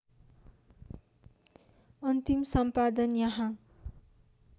अन्तिम सम्पादन यहाँ